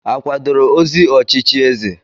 A kwadoro ozi ochichi eze?